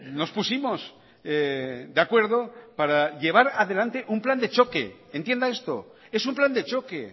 nos pusimos de acuerdo para llevar adelante un plan de choque entienda esto es un plan de choque